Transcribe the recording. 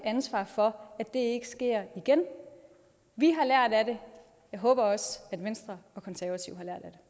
ansvar for at det ikke sker igen vi har lært af det jeg håber også at venstre og konservative